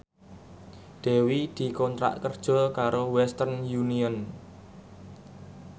Dewi dikontrak kerja karo Western Union